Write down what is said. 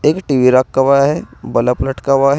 एक टी_वी रखा हुआ है बलफ लटका हुआ है।